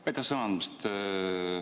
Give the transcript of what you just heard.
Aitäh sõna andmast!